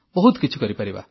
ବହୁତ କିଛି କରିପାରିବା